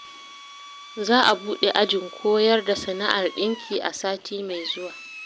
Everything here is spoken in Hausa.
Za a buɗe ajin koyar da sana'ar ɗinki a sati mai zuwa